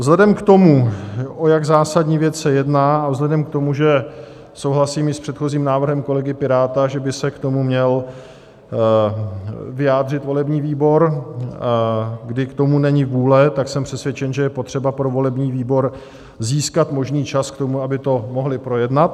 Vzhledem k tomu, o jak zásadní věc se jedná, a vzhledem k tomu, že souhlasím i s předchozím návrhem kolegy Piráta, že by se k tomu měl vyjádřil volební výbor, kdy k tomu není vůle, tak jsem přesvědčen, že je potřeba pro volební výbor získat možný čas k tomu, aby to mohli projednat.